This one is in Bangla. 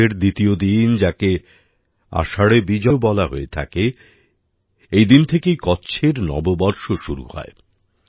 আষাঢ়ের দ্বিতীয় দিন যাকে আষাঢ়ে বিজও বলা হয় হয়ে থাকে এই দিন থেকেই কচ্ছএর নববর্ষও শুরু হয়